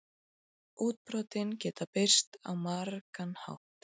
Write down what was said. Útbrotin geta birst á margan hátt.